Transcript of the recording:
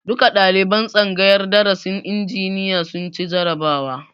Duka ɗaliban tsangayar darasin injiniya sun ci jarabawa